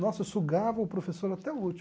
Nossa, eu sugava o professor até o último.